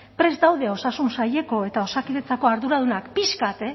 prest daude osasun saileko eta osakidetzako arduradunak pixka bat